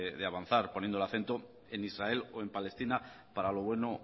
de avanzar poniendo el acento en israel o en palestina para lo bueno